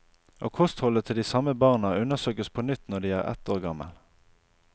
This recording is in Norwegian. Og kostholdet til de samme barna undersøkes på nytt når de er ett år gamle.